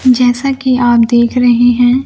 जैसा कि आप देख रहे हैं--